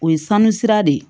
O ye sanu sira de ye